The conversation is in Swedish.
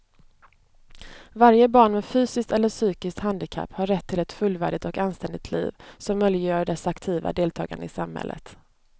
Varje barn med fysiskt eller psykiskt handikapp har rätt till ett fullvärdigt och anständigt liv som möjliggör dess aktiva deltagande i samhället.